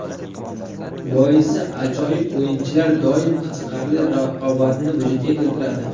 Boisi, ajoyib o‘yinchilar doim qiziqarli raqobatni vujudga keltiradi.